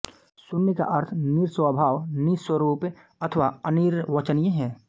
शून्य का अर्थ निरस्वभाव निस्वरूप अथवा अनिर्वचनीय है